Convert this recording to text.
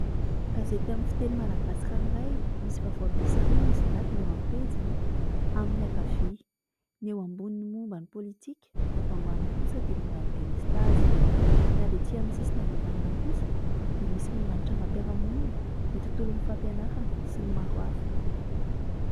Gazety amin'ny fiteny malagasy ranoray, misy vaovao miisa roa nasongadina eo am-pejiny eo amin'ny ankavia, ny eo ambony momban' ny politika ny eto ambany kosa dia momba ny " delestase" ny avy etsy amin'ny sisiny ankavanana kosa dia misy momban' ny trangam-piarahamonina, ny tontolon'ny fampianarana sy ny maro hafa.